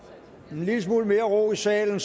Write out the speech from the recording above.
en lille smule mere ro i salen